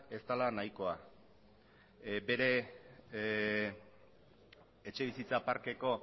ez dela nahikoa bere etxebizitza parkeko